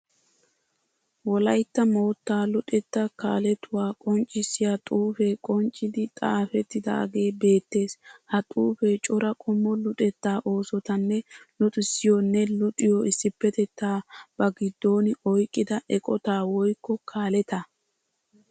Wolayitta moottaa luxettaa kaaletuwa qonccisiya xuufee qonccidi xaafettidagee beettees. Ha xuufee cora qommo luxetta oosotanne luxissiyoonne luxiyo issipetettaa ba giddon oyiqida eqota woyikko kaaleta.